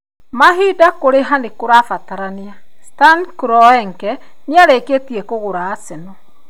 (Mahinda - kũrĩha nĩ kũrabatarania)Stan Kroenke nĩarĩkĩtie kũgũra Arsenal.